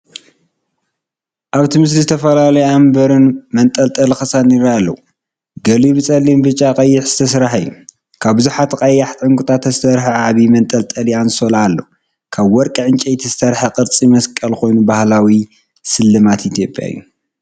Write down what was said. ኣብቲ ስእሊ ዝተፈላለዩ ኣምባርን መንጠልጠሊ ክሳድን ይረኣዩ ኣለው። ገሊኡ ብጸሊምን ብጫን ቀይሕን ዝስራሕ እዩ። ካብ ብዙሓት ቀያሕቲ ዕንቊታት ዝተሰርሐ ዓቢ መንጠልጠሊ ኣንሶላ ኣሎ፣ ካብ ወርቂ ወይ ዕንጨይቲ ዝተሰርሐ ቅርጺ መስቀልን ኮይኖም ባህላዊ ስልማት ኢትዮጵያ እዮም።